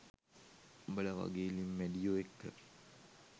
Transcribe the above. උබලා වගෙ ලිං මැඩියො එක්ක